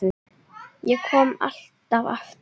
Ég kom alltaf aftur.